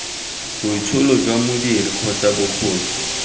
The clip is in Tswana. boitsholo jwa modiri kgotsa bokgoni